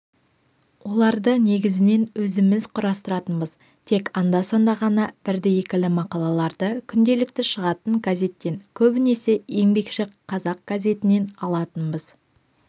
оларды негізінен өзіміз құрастыратынбыз тек анда-санда ғана бірді-екілі мақалаларды күнделікті шығатын газеттен көбінесе еңбекші қазақ газетінен алатынбыз